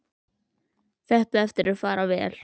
Þetta á eftir að fara vel.